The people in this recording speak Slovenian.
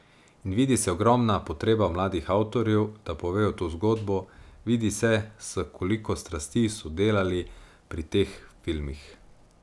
In vidi se ogromna potreba mladih avtorjev, da povejo to zgodbo, vidi se, s koliko strasti so delali pri teh filmih.